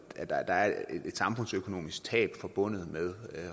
at der er et samfundsøkonomisk tab forbundet med